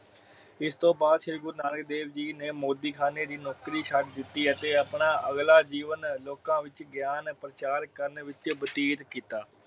ਇਸਤੋਂ ਬਾਅਦ ਸ਼੍ਰੀ ਗੁਰੂ ਨਾਨਕ ਦੇਵ ਜੀ ਨੇ ਮੋਦੀ ਖਾਣੇ ਦੀ ਨੌਕਰੀ ਛੱਡ ਦਿਤੀ ਅਤੇ ਆਪਣਾ ਅੱਗਲਾ ਜੀਵਨ ਲੋਕਾਂ ਵਿਚ ਗਿਆਨ ਪਰਚਾਰ ਕਾਰਨ ਵਿਚ ਬਤੀਤ ਕਿੱਤਾ।